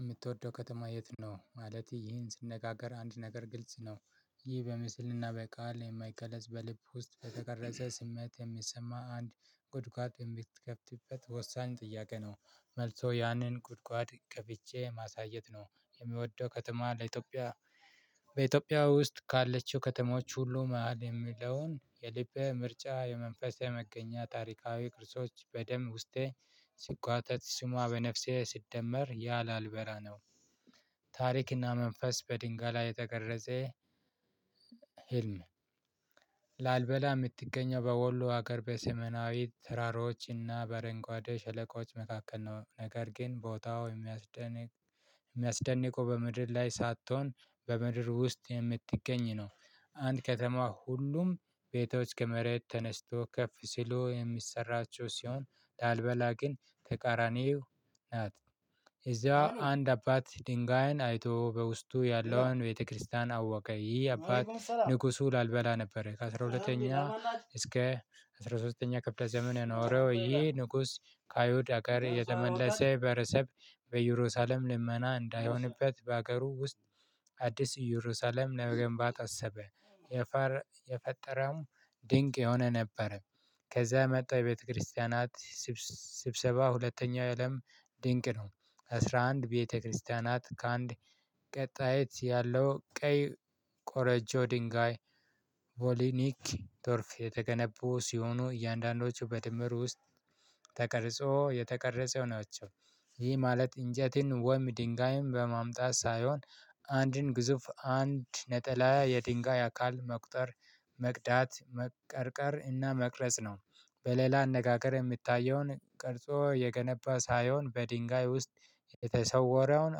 የምትወደው ከተማ የት ነው? ማለት ይህን ስነጋገር አንድ ነገር ግልጽ ነው ይህ በምስልና በቃል የማይገለጽ በልብ ውስጥ ከተቀረጸ ስሜት የሚሰማ አንድ ጉድጓድ የሚትከፍትበት ወሳኝ ጥያቄ ነው መልሶ ያንን ጉድጓድ ከፍቼ ማሳየት ነው የሚወደው ከተማ ለኢትዮጵያ በኢትዮጵያ ውስጥ ካለችው ከተማዎች ሁሉ መሃል የሚለውን የልቤ ምርጫ የመንፈሴ መገኛ ታሪካዊ ቅርሶች በደም ውስጤ ሲጓተት ስሟ በነፍሴ ስትደመር ያላልበራ ነው ታሪክና መንፈስ በድንጋ ላይ የተቀረጸ ህልም ላልበላ የምትገኘው በወሎ ሀገር በስሜናዊትት ተራሮችና በረንጓዴ ሸለቆች መካከል ነው ነገር ግን ቦታው የሚያስደንቅ የሚያስደንቁ በምድር ላይ ሳትሆን በምድር ውስጥ የምትገኝ ነው አንድ ከተማ ሁሉም ቤቶች ከመሬት ተነስቶ ከፍ ሲሉ የሚሰራቸው ሲሆን ላልበላ ግን ተቃራኒው ናት እዛ አንድ አባት ድንጋይን አይቶ በውስጡ ያለውን ቤተክርስቲያን አወቀ ይህ አባት ንጉሱ ላልበላ ነበረ ከአሥራ ሁለተኛ እስከ አስራ ሶስተኛ ክፍለ ዘመን የኖረው ይሄ ንጉስ ከአይሁድ አገር የተመለሰ ብሄረሰብ በእየሩሳሌም ልመና እንዳይሆንበት በአገሩ ውስጥ አዲስ ኢየሩሳሌም ለመገንባት አሰበ የፋር የፈጠረውም ድንቅ የሆነ ነበረ ከዛ የመጣው የቤተክርስቲያናት ስብስብ ስብሰባ ሁለተኛው የአለም ድንቅ ነው አስራ አንድ ቤተክርስቲያናት ከአንድ ቀጣይት ያለው ቀይ ቆረጆ ድንጋይ ቮሊኒክ ቶርፍ የተገነቡ ሲሆኑ እያንዳንዳቸው በድምር ውስጥ ተቀርጾ የተቀረጸው ናቸው ይህ ማለት እንጀትን ወም ድንጋይም በማምጣት ሳይሆን አንድን ግዙፍ አንድ ነጠላ የድንጋይ አካል መቁጠር መቅዳት መቀርቀር እና መቅረጽ ነው በሌላ አነጋገር የምታየውን ቅርጾ የገነባ ሳይሆን በድንጋይ ውስጥ የተሰወረውን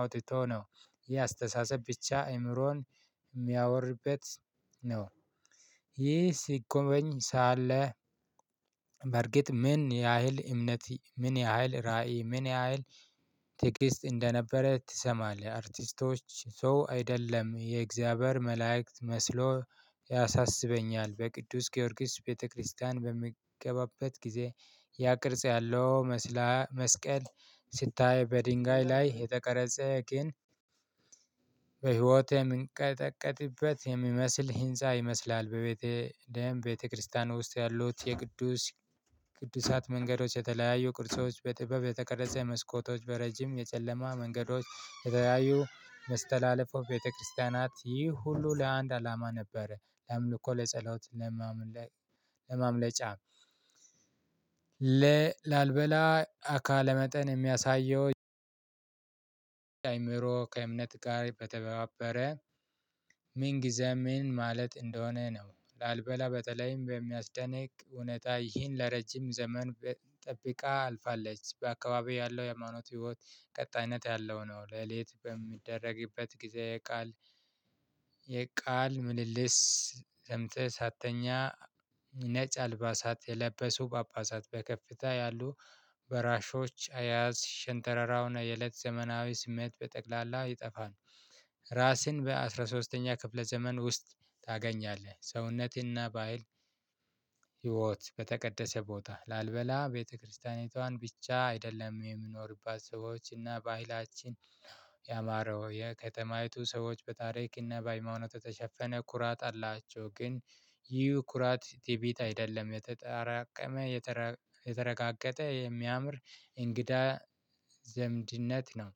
አውጥቶ ነው ይህ አስተሳሰብ ብቻ አእምሮን የሚያወርርበት ነው ይህ ሲጎበኝ ሳለ በርግጥ ምን ያህል እምነት ምን ያህል ራዕይ ምን ያህል ትግስት እንደነበረ ትሰማለህ አርቲስቶች ሰው አይደለም የእግዚአብሔር መላእክት መስሎ ያሳስበኛል በቅዱስ ጊዮርጊስ ቤተክርስቲያን በሚገባበት ጊዜ ያ ቅርጽ ያለው መስላ መስቀል ስታይ በድንጋይ ላይ የተቀረጸ ቅን በህይወት የምንቀጠቀጥበት የሚመስል ህንፃ ይመስላል በቤተ ደም ቤተክርስቲያን ውስጥ ያሉት የቅዱስ ቅዱሳት መንገዶች የተለያዩ ቅርጾች በጥበብ የተቀረጸ መስኮቶች በረጅም የጨለማ መንገዶች የተለያዩ መስተላለፉ ቤተክርስቲያናት ይህ ሁሉ ለአንድ አላማ ነበረ ለአምልኮ ለጸሎት ለማምለጫ ለ ላልበላ አካለ መጠን የሚያሳየው አእምሮ ከእምነት ጋር በተባበረ ምን ጊዜም ምን ማለት እንደሆነ ነው ላልበላ በተለይም በሚያስደንቅ እውነታ ይህን ለረጅም ዘመን ጠብቃ አልፋለች በአካባቢው ያለው የሃይማኖት ህይወት ቀጣይነት ያለው ነው ሌሊት በሚደረግበት ጊዜ የቃል የቃል ምልልስ ሰምተህ ሳትተኛ ነጭ አልባሳት የለበሱ ጳጳሳት በከፍታ ያሉ በራሾች አያያዝ ሽንተረራውና የእለት ዘመናዊ ስሜት በጠቅላላ ይጠፋን ራስን በአሥራ ሶስተኛ ክፍለ ዘመን ውስጥ ታገኛለህ ሰውነትህና በሃይል ህይወት በተቀደሰ ቦታ ላልበላ ቤተክርስቲያኒቷን ብቻ አይደለም የሚኖሩባት ሰዎች እና በኃይላችን ያማረው የከተማይቱ ሰዎች በታሪክና በሃይማኖት የተሸፈነ ኩራት አላቸው ግን ይህ ኩራት ትዕቢት አይደለም የተጠራቀመ የተረጋገጠ የሚያምር እንግዳ ዘምድነት ነው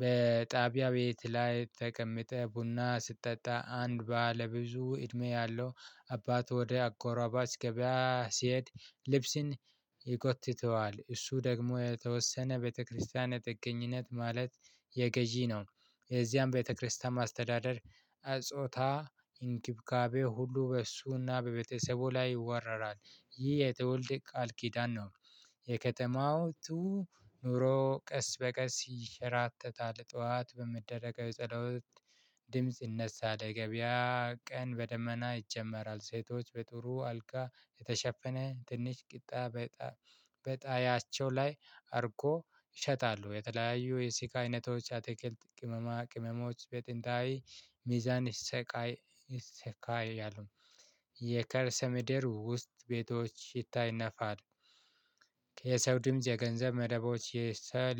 በጣቢያ ቤት ላይ ተቀምጠህ ቡና ስትጠጣ አንድ ባለ ብዙ እድሜ ያለው አባት ወደ አጎራባች ገበያ ሲሄድ ልብስን ይጎትተዋል እሱ ደግሞ የተወሰነ ቤተክርስቲያን የጥገኝነት ማለት የገዢ ነው የዚያን ቤተክርስቲያን ማስተዳደር ጾታ እንክብካቤ ሁሉ በእሱና በቤተሰቡ ላይ ይወረራል ይህ የተወልድ ቃል ኪዳን ነው የከተማው ቱ ኑሮ ቀስ በቀስ ይሸራተታል ጠዋት በሚደረገው የጸሎት ድምጽ ይነሳል ገበያ ቀን በደመና ይጀመራል ሴቶች በጥሩ አልጋ የተሸፈነ ትንሽ ቂጣ በጣያቸው ላይ አርጎ ይሸጣሉ የተለያዩ የሲካ አይነቶች አትክልት ቅመማ ቅመሞች በጥንታዊ ሚዛን ይሰቃይ ይሰካያሉ የከርሰ ምድር ውስጥ ቤቶች ይታይነፋል የሰው ድምጽ የገንዘብ መደቦች የሰለ